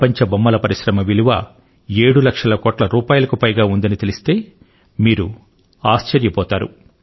ప్రపంచ బొమ్మల పరిశ్రమ విలువ 7 లక్షల కోట్ల రూపాయలకు పైగా ఉందని తెలిస్తే మీరు ఆశ్చర్యపోతారు